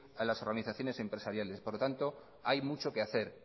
a las organizaciones empresariales por lo tanto hay mucho que hacer